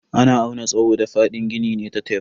Ana auna tsawo da fadin gini ne da tef.